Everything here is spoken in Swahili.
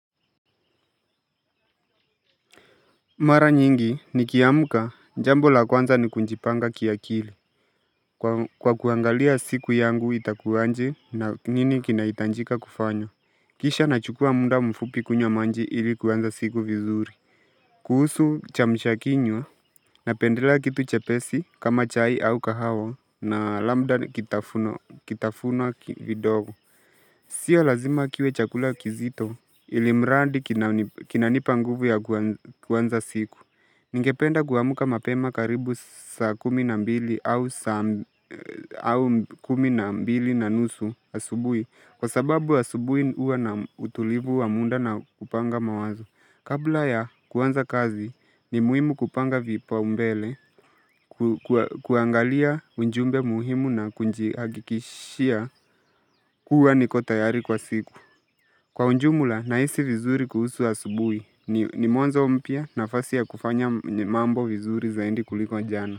Mara nyingi nikiamka jambo la kwanza ni kujipanga kiakili kwa kuangalia siku yangu itakua aje na nini kinaitajika kufanya Kisha nachukua muda mfupi kunywa maji ili kuanza siku vizuri kuhusu kiamsha kinywa napendela kitu chepesi kama chai au kahawa na labda kitafuno kitafunwa vidogo sio lazima kiwe chakula kizito ili mrandi kinanipa nguvu ya kwanza siku Ningependa kuamuka mapema karibu saa kumi na mbili au au kumi na mbili na nusu asubui kwa sababu asubui uwa na utulivu wa muda na kupanga mawazo kabla ya kuanza kazi ni muhimu kupanga vipao mbele kuangalia ujumbe muhimu na kujiagikishia kuwa niko tayari kwa siku kwa ujumla nahisi vizuri kuhusu subuhi ni mwanza umpia na fasi ya kufanya mnambo vizuri zaidi kuliko jana.